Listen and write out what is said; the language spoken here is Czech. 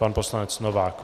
Pan poslanec Novák.